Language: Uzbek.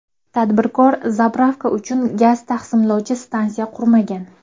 Tadbirkor zapravka uchun gaz taqsimlovchi stansiya qurmagan.